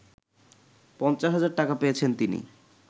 ৫০ হাজার টাকা পেয়েছেন তিনি